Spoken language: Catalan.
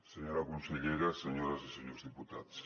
senyora consellera senyores i senyors diputats